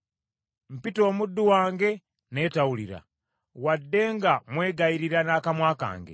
Mpita omuddu wange naye tawulira, wadde nga mwegayirira n’akamwa kange.